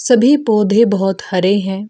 सभी पौधे बहुत हरे हैं।